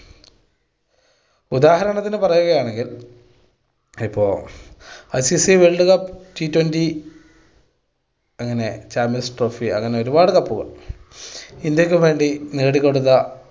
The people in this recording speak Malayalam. ഉദാഹരണത്തിന് പറയുകയാണെങ്കിൽ ഇപ്പൊ ICC world cup, twenty twenty അങ്ങനെ champions trophy അങ്ങനെ ഒരുപാട് cup കൾ ഇന്ത്യക്ക് വേണ്ടി നേടി കൊടുത്ത